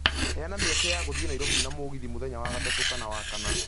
Heana mĩeke ya gũthiĩ Nairobi na mũgithi mũthenya wa gatatũ kana wa kana